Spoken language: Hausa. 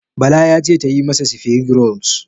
Bala ya ce tayi masa sifirig rols